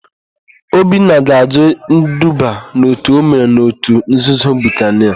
Obinna ga-àjụ́ iduba n'òtù o mere n'òtù nzuzo Bukanịa.